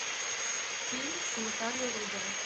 фильм с натальей рудовой